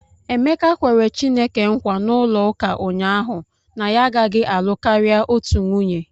Emeka kwere Chineke nkwa n'ụlọụka ụnyahụ na ya agaghị alụ karịa otu nwunye.